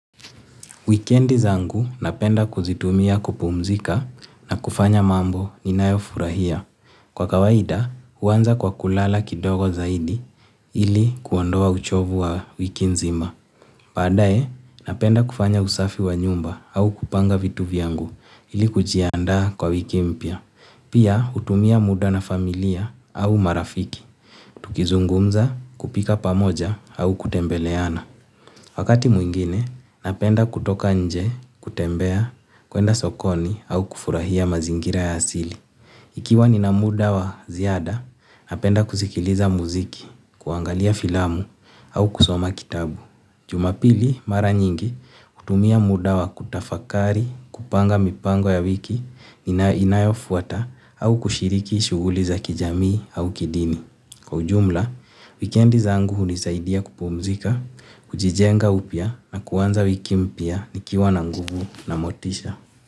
Wikendi zangu napenda kuzitumia kupumzika na kufanya mambo ninayofurahia. Kwa kawaida huanza kwa kulala kidogo zaidi ili kuondoa uchovu wa wiki nzima. Baadaye napenda kufanya usafi wa nyumba au kupanga vitu vyangu ili kujiaanda kwa wiki mpya. Pia utumia muda na familia au marafiki. Tukizungumza kupika pamoja au kutembeleana. Wakati mwingine, napenda kutoka nje, kutembea, kuenda sokoni au kufurahia mazingira ya asili. Ikiwa nina muda wa ziada, napenda kusikiliza muziki, kuangalia filamu au kusoma kitabu. Jumapili mara nyingi, hutumia muda wa kutafakari, kupanga mipango ya wiki inayofuata au kushiriki shughuli za kijamii au kidini. Kwa ujumla, wikendi zangu hunisaidia kupumzika, kujijenga upya na kuanza wiki mpya nikiwa na nguvu na motisha.